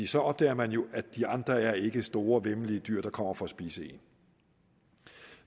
så opdager man at de andre ikke er store væmmelige dyr der kommer for at spise en